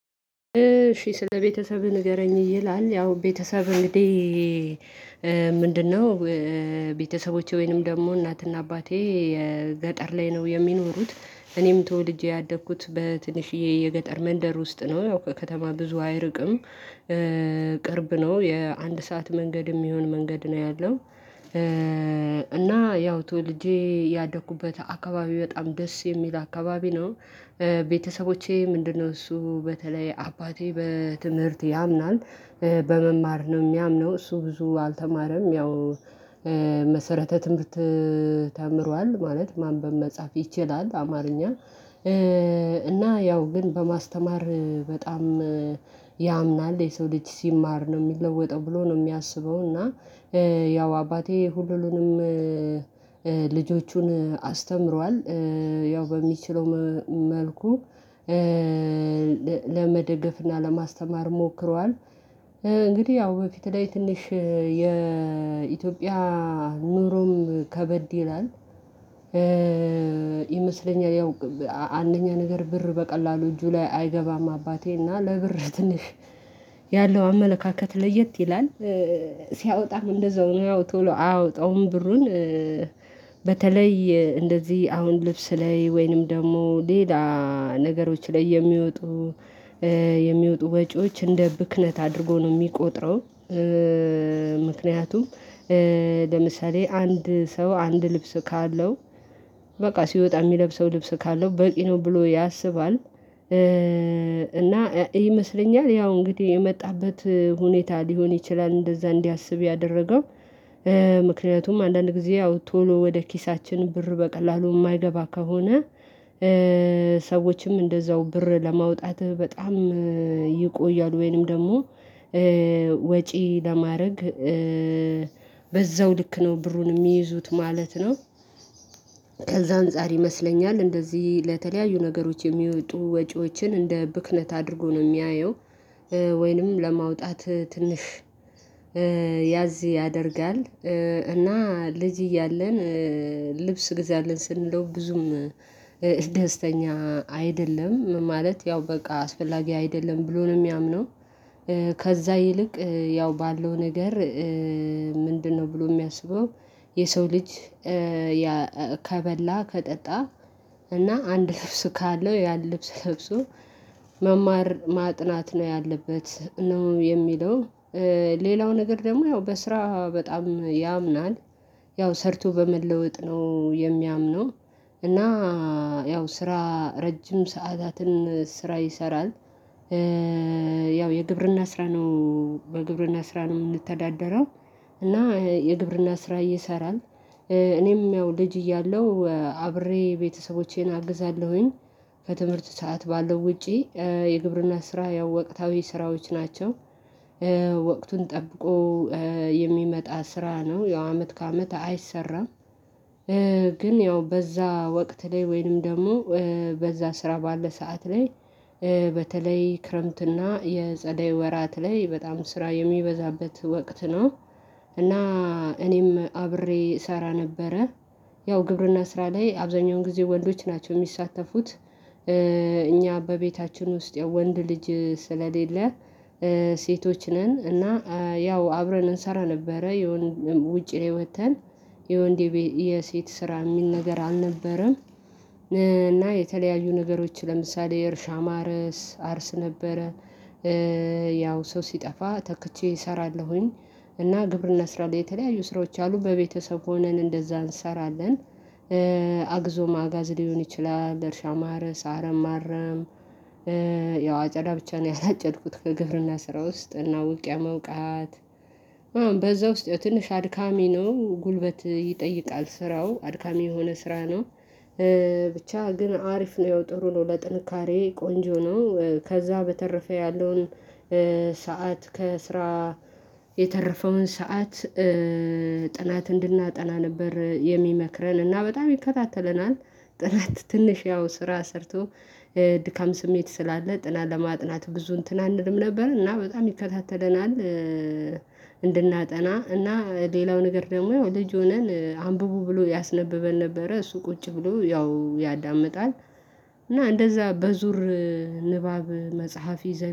እሺ ስለቤተሰብህ ንገረኝ ይላል ያው ቤተሰብ እንግዲህ ምንድነው? ቤተሰቦቼ ወይንም ደግሞ እናትና አባቴ የገጠር ላይ ነው የሚኖሩት እኔም ተወልጄ ያደኩት በትንሽዬ የገጠር መንደር ውስጥ ነው ያው ከከተማ ብዙ አይርቅም ቅርብ ነው የአንድ ሰዓት መንገድ የሚሆን መንገድ ነው ያለው። እና ያው ተወልጄ ያደኩበት አካባቢ በጣም ደስ የሚል አካባቢ ነው። ቤተሰቦቼ ምንድነው እሱ በተለይ አባቴ በትምህርት ያምናል። በመማር ነው የሚያምነው እሱ ብዙ አልተማረም ያው መሰረተ ትምህርት ተምሯል ማለት ማንበብ መጻፍ ይችላል አማርኛ። እና ያው ግን በማስተማር በጣም ያምናል የሰው ልጅ ሲማር ነው የሚለወጠው ብሎ ነው የሚያስበው እና። ያው አባቴ ሁሉንም ልጆቹን አስተምሯል ያው በሚችለው መልኩ ለመደገፍና ለማስተማር ሞክሯል። እንግዲህ ያው በፊት ላይ ትንሽ የኢትዮጵያ ኑሮም ከበድ ይላል። ይመስለኛል ያው አንደኛ ነገር ብር በቀላሉ እጁ ላይ አይገባም አባቴ እና ለብር ትንሽ ያለው አመለካከት ለየት ይላል። ሲያወጣም እንደዛው ነው ያው ቶሎ አያወጣውም ብሩን በተለይ እንደዚህ አሁን ልብስ ላይ ወይንም ደግሞ ሌላ ነገሮች ላይ የሚወጡ የሚወጡ ወጪዎች እንደ ብክነት አድርጎ ነው የሚቆጥረው። ምክንያቱም ለምሳሌ አንድ ሰው አንድ ልብስ ካለው በቃ ሲወጣ የሚለብሰው ልብስ ካለው በቂ ነው ብሎ ያስባል። እና ይመስለኛል ያው እንግዲህ የመጣበት ሁኔታ ሊሆን ይችላል እንደዛ እንዲያስብ ያደረገው። ምክንያቱም አንዳንድ ጊዜ ያው ቶሎ ወደ ኪሳችን ብር በቀላሉ የማይገባ ከሆነ። ሰዎችም እንደዛው ብር ለማውጣት በጣም ይቆያል ወይንም ደግሞ ወጪ ለማረግ በዛው ልክ ነው ብሩን የሚይዙት ማለት ነው። ከዛ አንፃር ይመስለኛል እንደዚህ ለተለያዩ ነገሮች የሚወጡ ወጪዎችን እንደ ብክነት አድርጎ ነው የሚያየው። ወይንም ለማውጣት ትንሽ ያዝ ያደርጋል። እና ልጅ እያለን ልብስ ግዛልን ስንለው ብዙም ደስተኛ አይደለም ማለት ያው በቃ አስፈላጊ አይደለም ብሎ ነው የሚያምነው። ከዛ ይልቅ ያው ባለው ነገር ምንድነው ብሎ የሚያስበው? የሰው ልጅ ከበላ ከጠጣ እና አንድ ልብስ ካለው ያን ልብስ ለብሶ መማር ማጥናት ነው ያለበት ነው የሚለው። ሌላው ነገር ደግሞ ያው በስራ በጣም ያምናል ያው ሰርቶ በመለወጥ ነው የሚያምነው እና ያው ስራ ረጅም ሰዓታትን ስራ ይሰራል። ያው የግብርና ስራ ነው በግብርና ስራ ነው የምንተዳደረው። እና የግብርና ስራ ይሰራል እኔም ያው ልጅ እያለው አብሬ ቤተሰቦቼን አግዛለሁኝ ከትምህርት ሰዓት ባለው ውጪ የግብርና ስራ ያው ወቅታዊ ስራዎች ናቸው። ወቅቱን ጠብቆ የሚመጣ ስራ ነው ያው አመት ከአመት አይሰራም። ግን ያው በዛ ወቅት ላይ ወይንም ደግሞ በዛ ስራ ባለ ሰዓት ላይ በተለይ ክረምትና የጸደይ ወራት ላይ በጣም ስራ የሚበዛበት ወቅት ነው። እና እኔም አብሬ እሰራ ነበረ ያው ግብርና ስራ ላይ አብዛኛውን ጊዜ ወንዶች ናቸው የሚሳተፉት። እኛ በቤታችን ውስጥ ያው ወንድ ልጅ ስለሌለ ሴቶች ነን እና ያው አብረን እንሰራ ነበረ የሆነ ውጪ ላይ ወጥተን የወንድ የሴት ስራ የሚል ነገር አልነበረም። እና የተለያዩ ነገሮች ለምሳሌ የእርሻ ማረስ አርስ ነበረ። ያው ሰው ሲጠፋ ተክቼ እሰራለሁኝ እና ግብርና ስራ ላይ የተለያዩ ስራዎች አሉ በቤተሰብ ሆነን እንደዛ እንሰራለን። አግዞ ማጋዝ ሊሆን ይችላል እርሻ ማረስ አረም ማረም። አጨዳ ብቻ ነው ያላጨድኩት ከግብርና ስራ ውስጥ እና ውቅያ መውቃት። በዛ ውስጥ ያው ትንሽ አድካሚ ነው ጉልበት ይጠይቃል ስራው አድካሚ የሆነ ስራ ነው። ብቻ ግን አሪፍ ነው ያው ጥሩ ነው ለጥንካሬ ቆንጆ ነው ከዛ በተረፈ ያለውን ሰዓት ከስራ የተረፈውን ሰዓት ጥናት እንድናጠና ነበር የሚመክረን እና በጣም ይከታተለናል። ጥናት ትንሽ ያው ስራ ሰርቶ ድካም ስሜት ስላለ ጥናት ለማጥናት ብዙ እንትን አንልም ነበር እና በጣም ይከታተለናል። እንድናጠና እና ሌላው ነገር ደግሞ ልጅ ሆነን አንብቡ ብሎ ያስነበበን ነበረ እሱ ቁጭ ብሎ ያው ያዳምጣል። እና እንደዛ በዙር ንባብ መጽሐፍ ይዘን